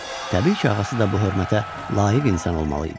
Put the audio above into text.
Təbii ki, ağası da bu hörmətə layiq insan olmalı idi.